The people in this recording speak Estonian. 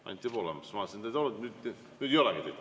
Anti Poolamets, ma vaatasin, et te olite olemas, aga nüüd ei olegi.